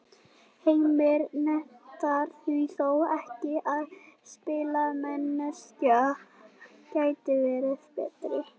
Heimir neitar því þó ekki að spilamennskan gæti verið betri.